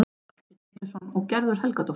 Valtýr Pétursson og Gerður Helgadóttir.